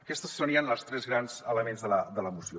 aquests serien els tres grans elements de la moció